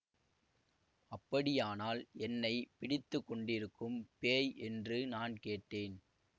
அப்படியானால் என்னை பிடித்து கொண்டிருக்கும் பேய் என்று நான் கேட்டேன்